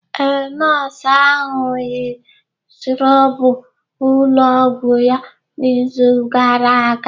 Ee, nọọsụ ahụ yi skrọbụ ụlọ ọgwụ ya n'izu gara aga.